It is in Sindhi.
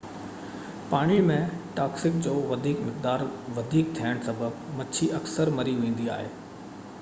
پاڻي ۾ ٽاڪسن جو وڌيڪ مقدار وڌيڪ ٿيڻ سبب مڇي اڪثر مري ويندي آهي